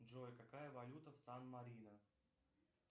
джой какая валюта в сан марино